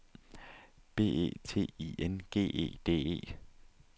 B E T I N G E D E